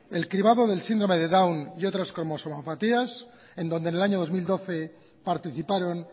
el cribado del síndrome de down y otras cromosomapatías en donde en el año dos mil doce participaron